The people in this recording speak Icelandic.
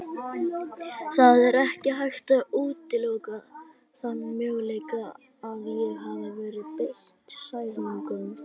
Það er ekki hægt að útiloka þann möguleika að ég hafi verið beitt særingum.